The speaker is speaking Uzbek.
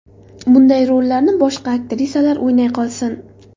Bunday rollarni boshqa aktrisalar o‘ynay qolsin.